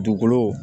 Dugukolo